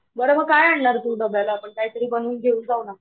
बरं मंग काय आणणारं आहें डब्याला तुम्ही आपणं काहीतरी बनवून घेऊन जाऊना.